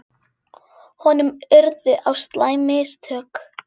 Honum urðu á slæm mistök.